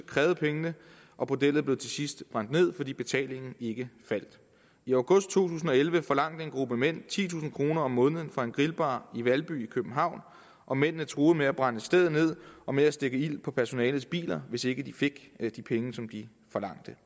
krævede pengene og bordellet blev til sidst brændt ned fordi betalingen ikke faldt i august to tusind og elleve forlangte en gruppe mænd titusind kroner om måneden fra en grillbar i valby i københavn og mændene truede med at brænde stedet ned og med at stikke ild på personalets biler hvis ikke de fik de penge som de forlangte